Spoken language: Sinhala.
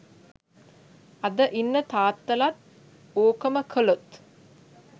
අද ඉන්න තාත්තලත් ඕකම කලොත්